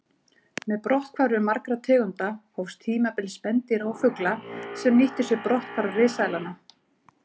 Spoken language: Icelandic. Með brotthvarfi margra tegunda hófst tímabil spendýra og fugla sem nýttu sér brotthvarf risaeðlanna.